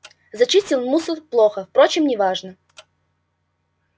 зачистил мусор плохо впрочем не важно